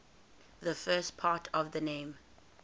the first part of the name